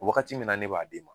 Wagati mun na ne b'a di e ma